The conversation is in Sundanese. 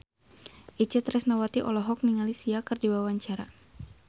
Itje Tresnawati olohok ningali Sia keur diwawancara